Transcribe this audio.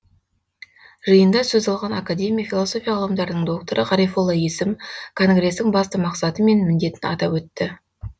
жиында сөз алған академик философия ғылымдарының докторы ғарифолла есім конгрестің басты мақсаты мен міндетін атап өтті